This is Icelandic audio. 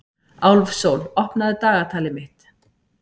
Álfsól, opnaðu dagatalið mitt.